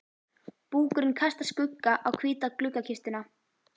Búkurinn kastar skugga á hvíta gluggakistuna.